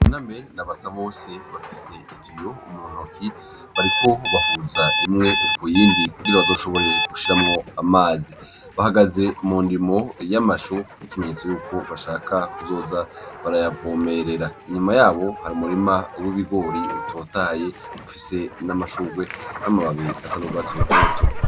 Buname na Basabose bafise itiyo muntoki bariko bahuza imwe kuyindi kugira bazoshobore gushiramwo amazi, bahagaze mu ndimo y'amashu nk'ikimenyetso yuko bashaka kuzoza barayavomerera inyuma yabo harumurima w'ibigori utotahaye ufise n'amashugwe n'amababi asa n'ugwatsi rutoto.